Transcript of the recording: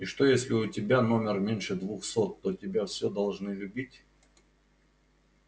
и что если у тебя номер меньше двухсот то тебя всё должны любить